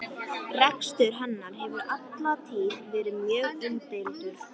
Rekstur hennar hefur alla tíð verið mjög umdeildur.